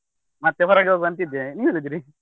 ಮತ್ತೆ ಹೊರಗೆ ಹೋಗ್ವ ಅಂತ ಇದ್ದೆ, ನೀವ್ ಎಲ್ಲಿದ್ರಿ?